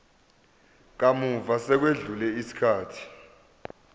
kamuva sekwedlule isikhathi